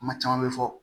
Kuma caman bɛ fɔ